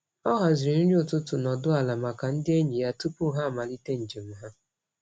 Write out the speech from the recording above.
Ọ haziri nri ụtụtụ nọdụ ala maka ndị enyi ya tupu ha amalite njem ha.